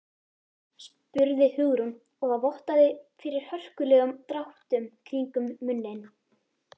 spurði Hugrún og það vottaði fyrir hörkulegum dráttum kringum munninn.